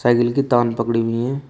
Cycle की तान पकड़ी हुई है।